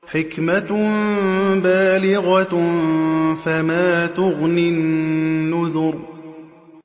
حِكْمَةٌ بَالِغَةٌ ۖ فَمَا تُغْنِ النُّذُرُ